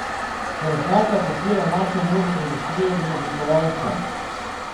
Krznarka podpira našo modno industrijo in oblikovalce.